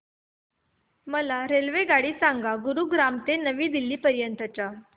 मला रेल्वेगाडी सांगा गुरुग्राम ते नवी दिल्ली पर्यंत च्या